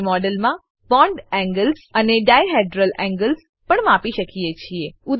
આપણે મોડેલમાં bond angles અને ડાયહેડ્રલ એન્ગલ્સ પણ માપી શકીએ છીએ